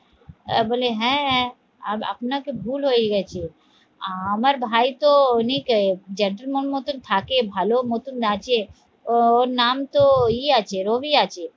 আহ বলে হ্যাঁ হ্যাঁ আপনাকে ভুল হয়ে গেছে আহ আমার ভাই তো অনেক জ্যাঠামো মতো থাকে, ভালো মতন নাচে ওর নাম তো ইয়ে আছে রবি আছে